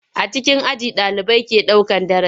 A cikin aji ɗalibai ke daukan darasi.